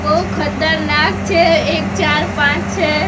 બૌ ખતરનાક છે એક ચાર પાંચ છે.